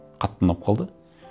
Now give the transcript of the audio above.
қатты ұнап қалды